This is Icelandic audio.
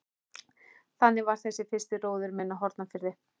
Þannig var þessi fyrsti róður minn á Hornafirði.